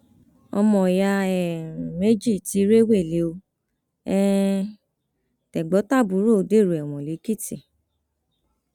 ọmọọyá um méjì tí rèwélẹ ò um tẹgbọntàbúrò dèrò ẹwọn lẹkìtì